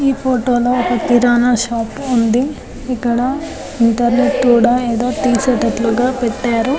ఈ ఫోటో లో ఒక కిరాణా షాప్ ఉంది ఇక్కడ ఇంటర్నెట్ కూడా ఏదో తీసేటట్లుగా పెట్టారు.